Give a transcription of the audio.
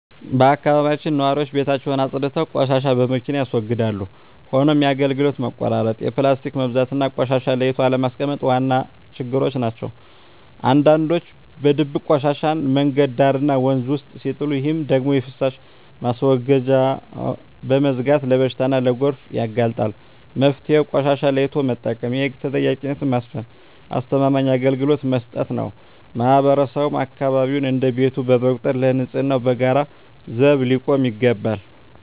በአካባቢያችን ነዋሪዎች ቤታቸውን አፅድተው ቆሻሻን በመኪና ያስወግዳሉ። ሆኖም የአገልግሎት መቆራረጥ፣ የፕላስቲክ መብዛትና ቆሻሻን ለይቶ አለማስቀመጥ ዋና ችግሮች ናቸው። አንዳንዶች በድብቅ ቆሻሻን መንገድ ዳርና ወንዝ ውስጥ ሲጥሉ፣ ይህ ደግሞ የፍሳሽ ማስወገጃዎችን በመዝጋት ለበሽታና ለጎርፍ ያጋልጣል። መፍትሄው ቆሻሻን ለይቶ መጠቀም፣ የህግ ተጠያቂነትን ማስፈንና አስተማማኝ አገልግሎት መስጠት ነው። ማህበረሰቡም አካባቢውን እንደ ቤቱ በመቁጠር ለንፅህናው በጋራ ዘብ ሊቆም ይገባል።